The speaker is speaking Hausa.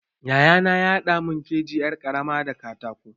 Yayana ya haɗa mun keji yar ƙarama da katako.